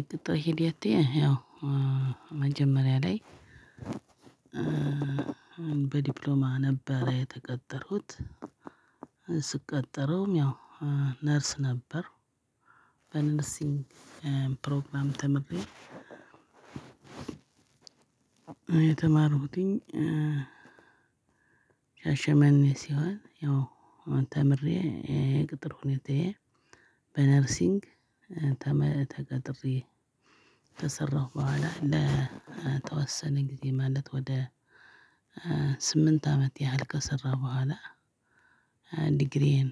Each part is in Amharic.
የቅጥር ሄደቴ ያው መጀመሪያ ላይ በዲፕሎማ ነበረ የተቀጠርኩት ስቀጠረውም ያው ነርስ ነበር በነርሲንግ ፕሮግራም ተምሬ የተማርኩትኝ ሻሸመኔ ሲሆን ያው ተምሬ እኔ የቅጥር ሁኔታዬ በነርሲንግ ተምሬ ተቀጥሬ ከሰራሁ በኋላ ለተወሰነ ጊዜ ማለት ወደ ስምንት አመት ያህል ከሰራሁ በኋላ ዲግሪዬን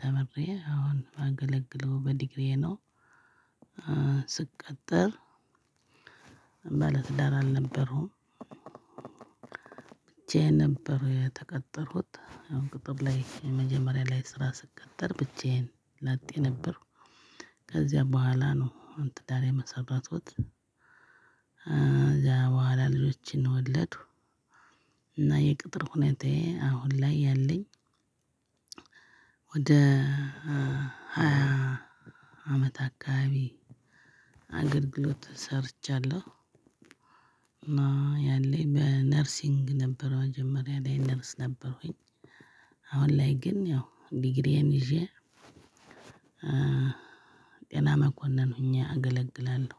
ተምሬ አሁን የማገለግለው በዲግሪዬ ነው። ስቀጠር ባለትዳር አልነበርኩም ብቻዬን ነበር የተቀጠርኩት አሁን ቅጥር ላይ መጀመሪያ ላይ ስራ ስቀጠር ብቻዬን ላጤ ነበርኩ። ከዚያ በኋላ ነው ትዳር የመሰረትኩት ከዚያ በኋላ ልጆችን ወለድኩ እና የቅጥር ሁኔታዬ አሁን ላይ ያለኝ ወደ አመት አካባቢ አገልግሎት ሰርቻለሁ። እና ያለኝ በነርሲንግ ነበረው መጀመሪያ ላይ ነርስ ነበርኩኝ አሁን ላይ ግን ያው ዲግሪዬን ይዤ ጤና መኮንን ሁኜ አገለግላለሁ።